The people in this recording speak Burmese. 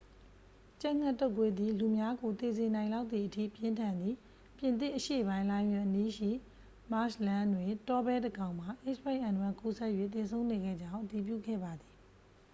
ကြက်ငှက်တုပ်ကွေးသည် လူများကို သေစေနိုင်လောက်သည်အထိ ပြင်းထန်သည်၊ ပြင်သစ်အရှေ့ပိုင်း လိုင်ယွင်အနီးရှိ မာရှ်လန်းတွင် တောဘဲတစ်ကောင်မှာ h၅n၁ ကူးစက်၍ သေဆုံးနေခဲ့ကြောင်း အတည်ပြုခဲ့ပါသည်။